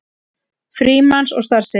Frímanns og starfsheiti.